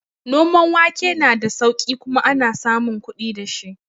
Noman wake na da sauƙi kuma ana samun kuɗi dashi